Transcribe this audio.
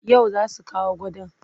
Yau za su kawo gadon.